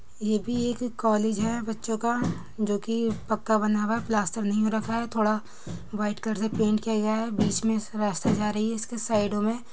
ये भी एक कॉलेज है बच्चों का जो कि पक्का बना हुआ है | प्लास्टर नहीं हो रखा है थोड़ा व्हाइट कलर से पेंट किया गया है| बीच में इसके रास्ता जा रही है इसके साइडो में--